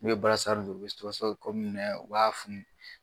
N'i bɛ don u bɛ minɛ u b'a